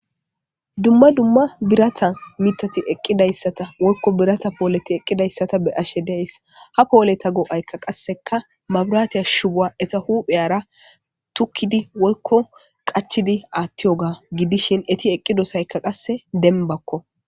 Dumma dumma birata mitati eqqidayssata wolko birata pooleti eqqidayssata be ashe dees ha pooleta goo'aykka qasseka mabiraatiya shubuwa eta huphey ara tukkidi wolko qachidi aatti oga gidishin eti eqqidosaykka qasse denbakko